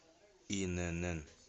инн